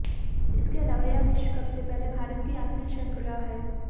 इसके अलावा यह विश्व कप से पहले भारत की आखिरी श्रृंखला है